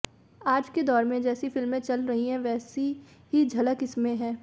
आज के दौर में जैसी फिल्में चल रही हैं वैसी ही झलक इसमें है